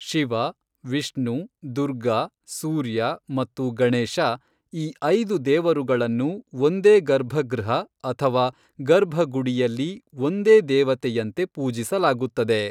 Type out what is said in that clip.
ಶಿವ, ವಿಷ್ಣು, ದುರ್ಗಾ, ಸೂರ್ಯ ಮತ್ತು ಗಣೇಶ, ಈ ಐದು ದೇವರುಗಳನ್ನು ಒಂದೇ ಗರ್ಭಗೃಹ ಅಥವಾ ಗರ್ಭಗುಡಿಯಲ್ಲಿ ಒಂದೇ ದೇವತೆಯಂತೆ ಪೂಜಿಸಲಾಗುತ್ತದೆ.